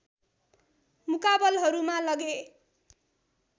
मुकाबलहरूमा लगे